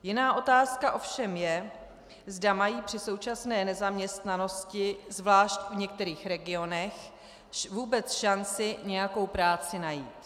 Jiná otázka ovšem je, zda mají při současné nezaměstnanosti, zvlášť v některých regionech, vůbec šanci nějakou práci najít.